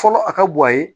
Fɔlɔ a ka guwan a ye